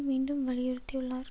மீண்டும் வலியுறுத்தியுள்ளார்